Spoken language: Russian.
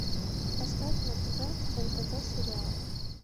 поставь на тв нтв сериал